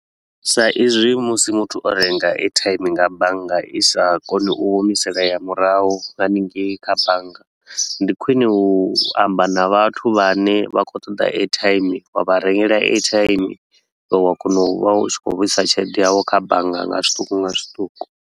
Sa izwi musi muthu o renga airtime nga bannga i sa kone u humiselea murahu hanengei kha bannga. Ndi khwine u amba na vhathu vha ne vha khou ṱoḓa airtime, wa vha rengela airtime iwe wa kona u vha u tshi khou vhuisa tshelede yau kha bannga nga zwiṱuku nga zwiṱuku.